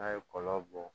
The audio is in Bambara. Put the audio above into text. N'a ye kɔlɔn bɔ